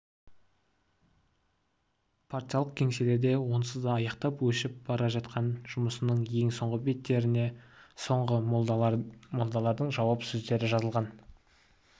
патшалық кеңселерде онсыз да аяқтап өшіп бара жатқан жұмысының ең соңғы беттеріне соңғы молдалардың жауап сөздері жазылған